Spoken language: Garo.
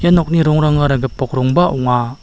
ia nokni rongrangara gipok rongba ong·a.